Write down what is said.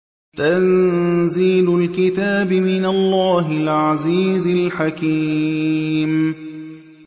تَنزِيلُ الْكِتَابِ مِنَ اللَّهِ الْعَزِيزِ الْحَكِيمِ